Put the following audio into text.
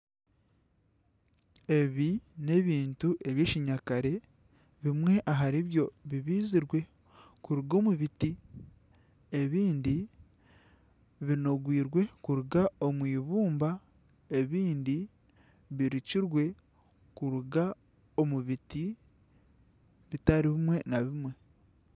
Ebi n'ebintu eby'ekinyakare bimwe ahari byo bibaizirwe kuruga omu biti ebindi ninongwirwe kuruga omwibumba ebindi birukirwe kuruga omu biti bitari bimwe na bimwe.